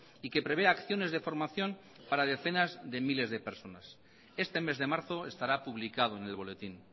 y que prevé acciones de formación para decenas de miles de personas este mes de marzo estará publicado en el boletín